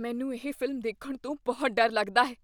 ਮੈਂਨੂੰ ਇਹ ਫ਼ਿਲਮ ਦੇਖਣ ਤੋਂ ਬਹੁਤ ਡਰ ਲੱਗਦਾ ਹੈ।